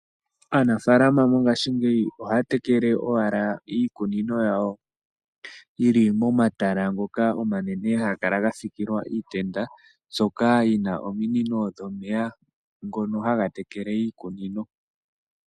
Aanafalama mongashingeyi ohaya tekele owala iikunino yawo yili mo matala ngoka omanene haga kala ga sikilwa iitenda mbyoka yina ominino dhomeya ngono haga tekele iikunino.